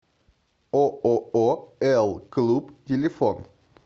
ооо элклуб телефон